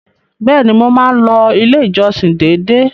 Bẹ́ẹ̀ni, mo máa ń lọ ilé ìjọsìn dédé.